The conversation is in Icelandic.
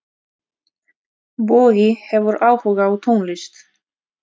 Bogi hefur áhuga á tónlist.